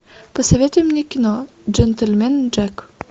посоветуй мне кино джентльмен джек